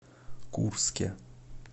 курске